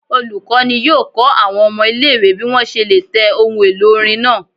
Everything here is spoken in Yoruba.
Olukọni yọọ kọ awọn ọmọ ile-iwe bi wọn ṣe le tẹ ohún-elo orín naa